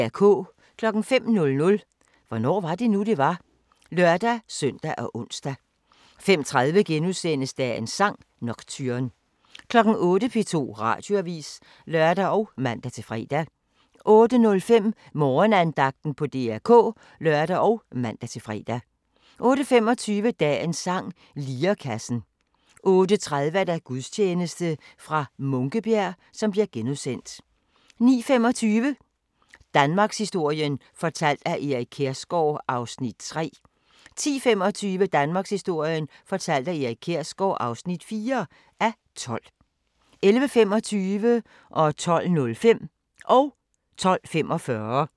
05:00: Hvornår var det nu, det var? (lør-søn og ons) 05:30: Dagens sang: Nocturne * 08:00: P2 Radioavis (lør og man-fre) 08:05: Morgenandagten på DR K (lør og man-fre) 08:25: Dagens sang: Lirekassen 08:30: Gudstjeneste fra Munkebjerg * 09:25: Danmarkshistorien fortalt af Erik Kjersgaard (3:12) 10:25: Danmarkshistorien fortalt af Erik Kjersgaard (4:12) 11:25: Fra baggård til big business 12:05: Fra baggård til big business